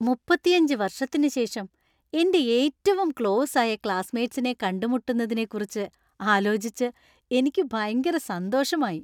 മുപ്പത്തിയഞ്ച് വർഷത്തിനുശേഷം എന്‍റെ ഏറ്റവും ക്ലോസ് ആയ ക്ലാസ്സ്മേറ്റ്സിനെ കണ്ടുമുട്ടുന്നതിനെക്കുറിച്ച് ആലോചിച്ച് എനിക്ക് ഭയങ്കര സന്തോഷമായി.